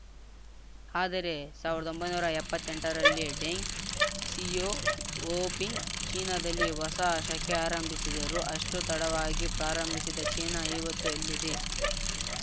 ಆದರೆ ಸಾವ್ರ್ದೊಂಬೈನೂರಾ ಎಪ್ಪತ್ತೆಂಟರಲ್ಲಿ ಡೆಂಗ್‌ ಕ್ಸಿಯಾವೋಪಿಂಗ್‌ ಚೀನಾದಲ್ಲಿ ಹೊಸ ಶಕೆ ಆರಂಭಿಸಿದರು ಅಷ್ಟುತಡವಾಗಿ ಪ್ರಾರಂಭಿಸಿದ ಚೀನಾ ಇವತ್ತು ಎಲ್ಲಿದೆ